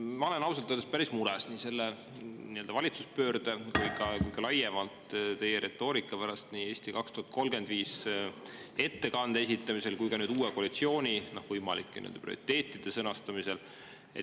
Ma olen ausalt öeldes päris mures nii selle nii-öelda valitsuspöörde pärast kui ka laiemalt teie retoorika pärast nii "Eesti 2035" ettekande esitamisel kui ka uue koalitsiooni võimalike prioriteetide sõnastamisel.